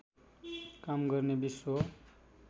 काम गर्ने विश्व